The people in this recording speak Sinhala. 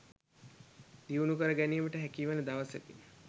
දියුණු කර ගැනීමට හැකිවන දවසකි.